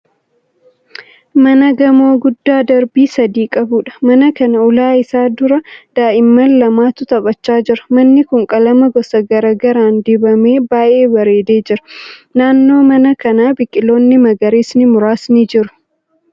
Mana gamoo guddaa darbii sadii qabuudha. Mana kana ulaa isaa dura daa'imman lamatu taphachaa jira. Manni kun qalama gosa garaa garaan dibamee baay'ee bareedee jira. Naannoo mana kanaa biqiloonni magariisni muraasni jiru.